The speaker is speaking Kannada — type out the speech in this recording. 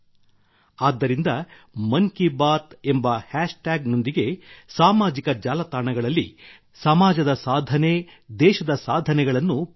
ಆದ್ದರಿಂದ ಮನ್ ಕಿ ಬಾತ್ ಎಂಬ ಹ್ಯಾಷ್ ಟ್ಯಾಗ್ ನೊಂದಿಗೆ ಸಾಮಾಜಿಕ ಜಾಲತಾಣಗಳಲ್ಲಿ ಸಮಾಜದ ಸಾಧನೆ ದೇಶದ ಸಾಧನೆಗಳನ್ನು ಪೋಸ್ಟ್ ಮಾಡಿ